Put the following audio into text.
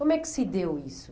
Como é que se deu isso?